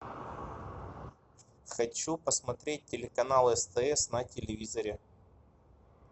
хочу посмотреть телеканал стс на телевизоре